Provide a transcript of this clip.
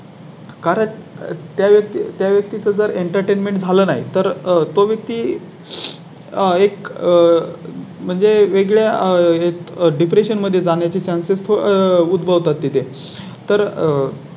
कारण त्या व्यक्ती त्या व्यक्ती चं जर Entertainment झालं नाहीं तर आह तो व्यक्ती आहे. एक म्हणजे वेगळ्या आहेत. Depression मध्ये जाण्या ची Chance उद्भवतात इथे तर.